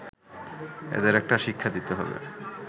এদের একটা শিক্ষা দিতে হবে